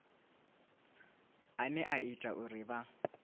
ane a ita uri vha